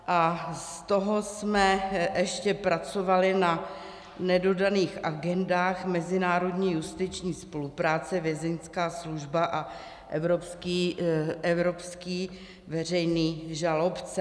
A z toho jsme ještě pracovali na nedodaných agendách: mezinárodní justiční spolupráce, Vězeňská služba a evropský veřejný žalobce.